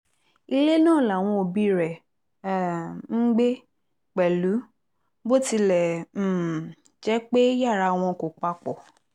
ilé náà làwọn òbí rẹ̀ ń um gbé pẹ̀lú bó tilẹ̀ um jẹ́ pé yàrá wọn kò papọ̀